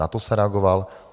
Na to jsem reagoval.